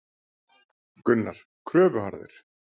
Gunnar: Kröfuharður?